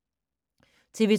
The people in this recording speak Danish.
TV 2